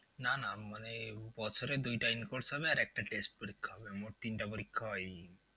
না না বছরে দুইটা in course হবে আর একটা test পরিক্ষা হবে। মোট তিনটে পরিক্ষা হয় এই